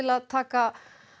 að taka